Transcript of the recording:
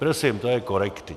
Prosím, to je korektní.